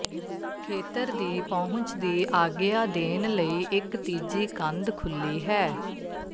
ਖੇਤਰ ਦੀ ਪਹੁੰਚ ਦੀ ਆਗਿਆ ਦੇਣ ਲਈ ਇੱਕ ਤੀਜੀ ਕੰਧ ਖੁੱਲੀ ਹੈ